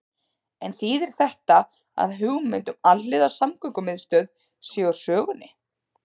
En þýðir þetta að hugmynd um alhliða samgöngumiðstöð sé úr sögunni?